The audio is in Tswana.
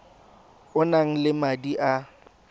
o nang le madi a